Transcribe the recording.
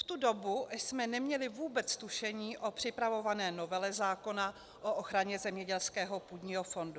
V tu dobu jsme neměli vůbec tušení o připravované novele zákona o ochraně zemědělského půdního fondu.